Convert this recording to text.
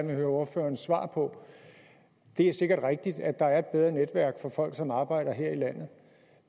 vil høre ordførerens svar på det er sikkert rigtigt at der er et bedre netværk for folk som arbejder her i landet